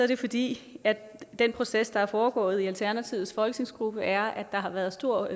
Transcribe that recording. det fordi den proces der er foregået i alternativets folketingsgruppe er at der har været stor